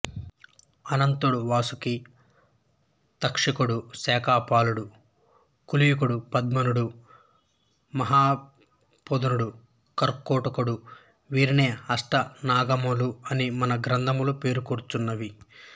అనంతుడు వాసుకి తక్షకుడు శంఖపాలుడు కుళికుడు పద్ముడు మహాపద్ముడు కర్కోటకుడు వీరినే అష్టనాగములు అని మన గ్రంథములు పేర్కొనుచున్నవి